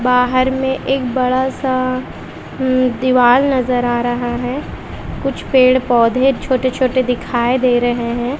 बाहर में एक बड़ा सा दीवाल नजर आ रहा है कुछ पेड़ पौधे छोटे छोटे दिखाइ दे रहे है।